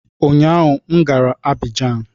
Ụnyaahụ m gara Abijan